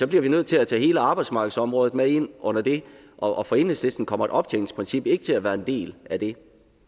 bliver vi nødt til at tage hele arbejdsmarkedsområdet med ind under det og for enhedslisten kommer et optjeningsprincip ikke til at være en del af det